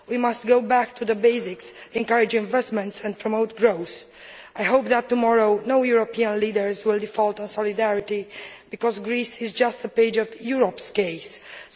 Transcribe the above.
We must go back to the basics, encourage investment and promote growth. I hope that tomorrow no European leader will default on solidarity, because Greece is just a page in the book which is Europe